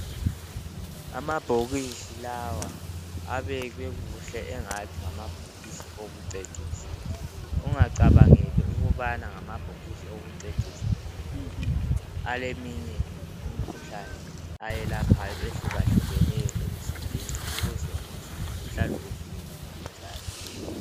Amabhokisi lawa abekwe Kuhle angathi ngamabhokisi okucecisa. Ungacabangeli ukubana ngamabhokisi okucecisa nje kuphela aleminye imikhuhlane ayilaphayo ehlukahlukeneyo ukuze umzimba uhlale uvikelekile njalo